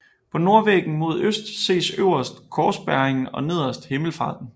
På nordvæggen mod øst ses øverst Korsbæringen og nederst Himmelfarten